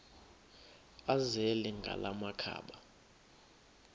azele ngala makhaba